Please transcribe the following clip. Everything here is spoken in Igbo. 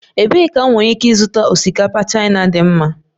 Ebee ka m nwere ike ịzụta osikapa Chaina dị mma?